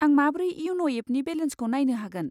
आं माब्रै इयन' एपनि बेलेन्सखौ नायनो हागोन?